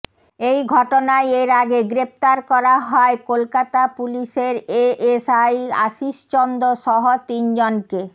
এই ঘটনায় এর আগে গ্রেফতার করা হয় কলকাতা পুলিশের এএসআই আশিস চন্দ সহ তিনজনকে